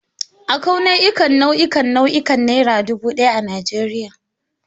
Akwai nau'ikan nau'ikan nau'ikan Naira dubu daya a Najeriya.